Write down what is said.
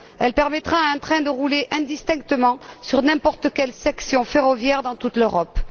Elle permettra à un train de rouler indistinctement sur n'importe quelle section ferroviaire dans toute l'Europe.